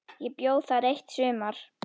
Ég bjó þar eitt sumar.